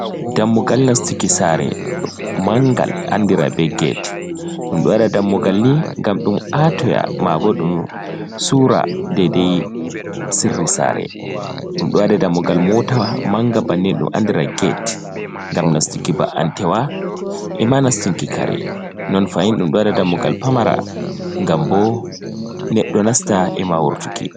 Dammugal nastuki sare mangal andira be gete, ɗum ɗo waɗa dammugal ni gam ɗum atoya mabo ɗum sura daidayi sirri sare, ɗum ɗowaɗa dammugal motaa manga bannen ɗo dum andira gete, ngam nastuki ba antewa ima nastuki kare, non fahin ɗum ɗowaɗa dammugal pamara gam bo neɗɗo nasta ima wurtuki.